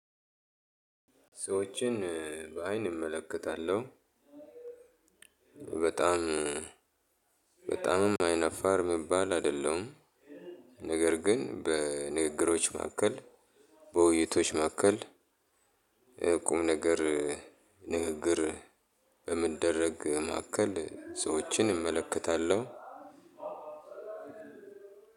ሰዎችን በአይን እመለከታለሁ። በጣም በጣምም አይነፋር ምባል አይደለሁም። ነገር ግን በንግግሮች መካከል በውይይቶች መካከል ቁም ነገር ንግግር በምደረግ ማካከል ሰዎችን እመለከታለሁ።